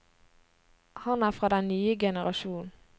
Han er fra den nye generasjon.